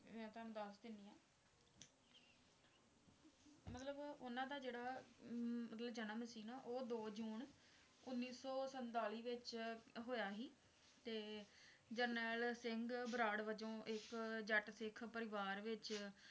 ਉਹ ਦੋ ਜੂਨ ਉੱਨੀ ਸੌ ਸੰਤਾਲੀ ਵਿੱਚ ਹੋਇਆ ਸੀ ਤੇ ਜਰਨੈਲ ਸਿੰਘ ਬਰਾੜ ਵੱਜੋਂ ਇੱਕ ਜੱਟ ਸਿੱਖ ਪਰਿਵਾਰ ਵਿੱਚ